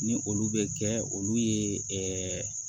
Ni olu bɛ kɛ olu ye